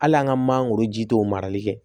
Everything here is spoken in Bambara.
Hali an ka mangoro ji t'o marali kɛ